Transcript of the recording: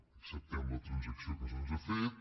acceptem la transacció que se’ns ha fet